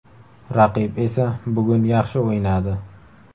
Raqib esa bugun yaxshi o‘ynadi.